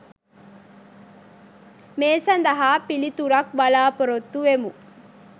මේ සදහා පිලිතුරක් බලාපොරොත්තු වෙමු.